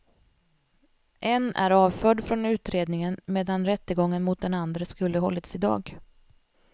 En är avförd från utredningen, medan rättegången mot den andre skulle hållits idag.